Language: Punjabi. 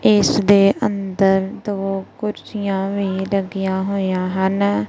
ਇਸ ਦੇ ਅੰਦਰ ਦੋ ਕੁਰਸੀਆਂ ਵੀ ਲੱਗੀਆਂ ਹੋਈਆਂ ਹਨ।